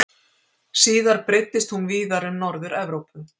Síðar breiddist hún víðar um Norður-Evrópu.